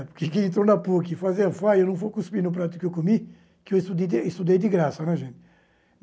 Porque quem entrou na PUC e fazia FAI, eu não vou cuspir no prato que eu comi, que eu estudei estudei de graça, né gente.